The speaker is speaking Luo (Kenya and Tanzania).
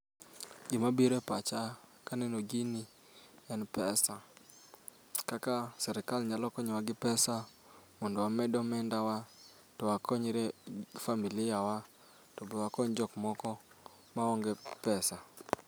Gima biro e pacha kaneno gini en pesa. Kaka sirkal nyalo konyowa gi pesa mondo wamed omendawa to wakonyre familia wa to be wakony jok moko maonge pesa.